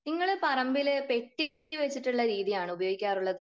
നിങ്ങൾ പറമ്പിൽ പെട്ടി വച്ചിട്ടുള്ള രീതിയാണോ ഉപയോഗിക്കാറുള്ളത്?